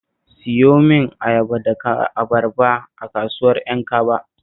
Siyo min ayaba da abarba a kasuwar Ƴankaba